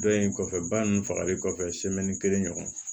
Dɔ in kɔfɛ ba ninnu fagali kɔfɛ kelen ɲɔgɔn